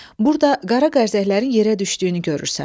Burda qara qərşəklərin yerə düşdüyünü görürsən.